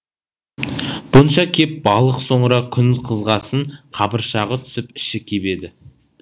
бұнша кеп балық соңыра күн қызғасын қабыршағы түсіп іші кебеді